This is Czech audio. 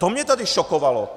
To mě tady šokovalo!